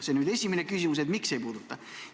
See on esimene küsimus: miks ei puuduta?